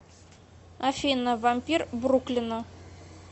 афина вампир бруклина